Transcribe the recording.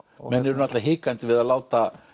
menn eru náttúrulega hikandi við að láta